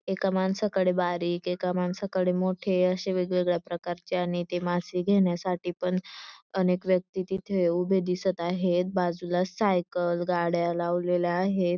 एका माणसाकडे बारीक एका माणसाकडे मोठे असे वेगवेगळ्या प्रकारचे आणि ते मासे घेण्यासाठी अनेक व्यक्ति तिथे उभे दिसत आहेत बाजूला सायकल गाड्या लावलेल्या आहेत.